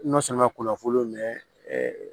N'o sɔnna k'o lafolo